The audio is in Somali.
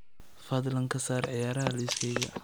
fadlan ka saar ciyaaraha liiskayga